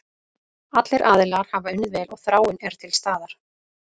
Allir aðilar hafa unnið vel og þráin er til staðar.